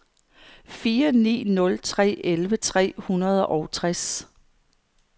fire ni nul tre elleve tre hundrede og tres